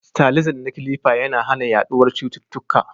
Sterilizing na kilifa yana hana yaduwar cututtuka